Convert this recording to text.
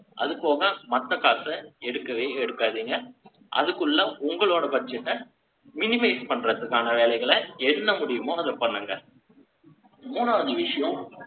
அது போக, மத்த காசை, எடுக்கவே எடுக்காதீங்க. அதுக்குள்ள, உங்களோட budget அ, minimize பண்றதுக்கான வேலைகளை, என்ன முடியுமோ, அதை பண்ணுங்க. மூணாவது விஷயம்,